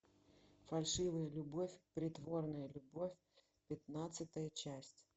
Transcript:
фальшивая любовь притворная любовь пятнадцатая часть